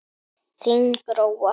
Þín Gróa.